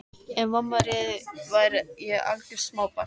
Ef mamma réði væri ég algjört smábarn.